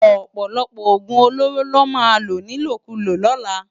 Òpòlòpò ógún ólórô lò má ló nilókúló lòlá